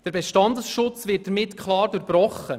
Der Bestandesschutz wird damit klar durchbrochen.